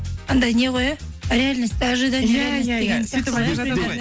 андай не ғой иә реальность ожидание иә иә иә